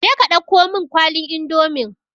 Je ka dauko mun kwalin indomin